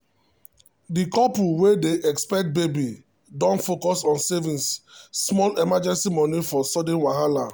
the couple wey dey expect baby don focus on saving small emergency money for sudden wahala.